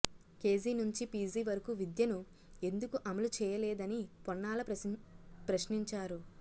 KG నుంచి PG వరకు విద్యను ఎందుకు అమలు చేయలేదని పొన్నాల ప్రశ్నించారు